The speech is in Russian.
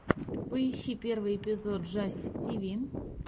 поищи первый эпизод джастик тиви